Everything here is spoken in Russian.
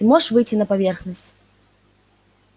ты можешь выйти на поверхность